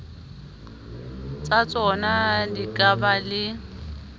tsatsona di ka ba le